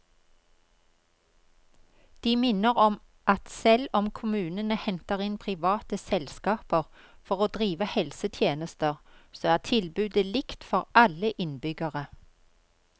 De minner om at selv om kommunene henter inn private selskaper for å drive helsetjenester, så er tilbudet likt for alle innbyggere.